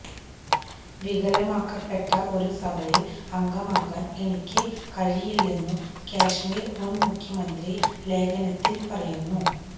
വികലമാക്കപ്പെട്ട ഒരു സഭയില് അംഗമാകാന് എനിക്ക് കഴിയില്ലെന്നും കശ്മീര് മുന് മുഖ്യമന്ത്രി ലേഖനത്തില് പറയുന്നു